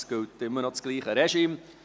Es gilt immer noch dasselbe Regime.